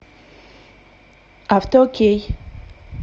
автоокей